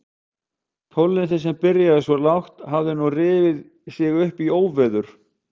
Tónlistin sem byrjaði svo lágt hafði nú rifið sig upp í óveður.